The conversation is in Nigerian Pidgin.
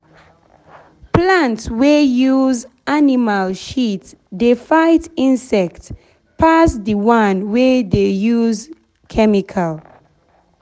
plant wey use animal shit dey fight insect pass the one wey dey use chemical